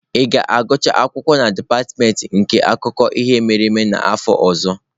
Ị ga-agụcha akwụkwọ na dipatịmentị nke akụkọ ihe mere eme n'afọ ọzọ?